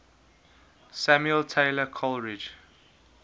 samuel taylor coleridge